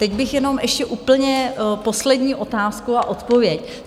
Teď bych jenom ještě úplně poslední otázku a odpověď.